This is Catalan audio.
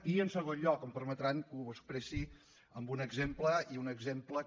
i en segon lloc em permetran que ho expressi amb un exemple i un exemple que